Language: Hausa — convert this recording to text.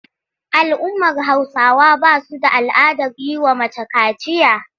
Al'ummar Hausawa ba su da al'adar yi wa mace kaciya.